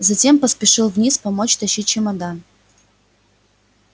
затем поспешил вниз помочь тащить чемодан